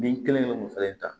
Bin kelen kelen ninnu fɛnɛ ta